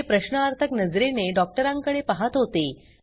ते प्रश्नार्थक नजरेने डॉक्टरांकडे पहात होते